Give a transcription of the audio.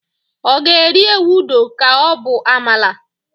ọ ga eri ewudo ka o bu amala?